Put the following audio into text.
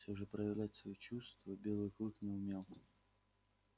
всё же проявлять свои чувства белый клык не умел